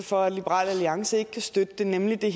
for at liberal alliance ikke kan støtte det nemlig det